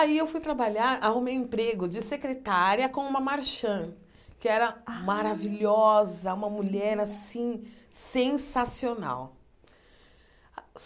Aí eu fui trabalhar, arrumei um emprego de secretária com uma marchand, que era maravilhosa, uma mulher assim, sensacional.